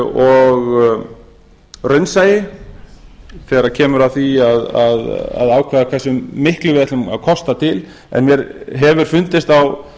og raunsæi þegar kemur að því að ákveða hversu miklu við ætlum að kosta til en mér hefur fundist á